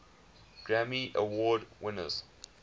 grammy award winners